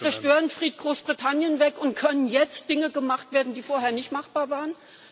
ist? Ist der Störenfried Großbritannien weg, und können jetzt Dinge gemacht werden, die vorher nicht machbar